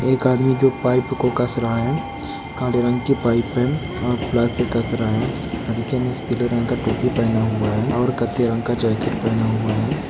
एक आदमी जो पाइप को कस रहा है काले रंग की पाइप है और प्लास से कस रहा है लड़के ने पीले रंग का टोपी पहना हुआ है और कथे रंग का जैकेट पहना हुआ है।